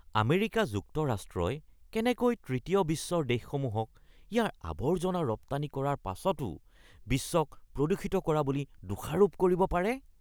America যুক্তৰাষ্ট্ৰই কেনেকৈ তৃতীয় বিশ্বৰ দেশসমূহক ইয়াৰ আৱৰ্জনা ৰপ্তানি কৰাৰ পাছতো বিশ্বক প্ৰদূষিত কৰা বুলি দোষাৰোপ কৰিব পাৰে?